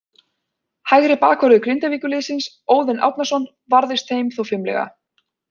Hægri bakvörður Grindavíkurliðsins, Óðinn Árnason, varðist þeim þó fimlega.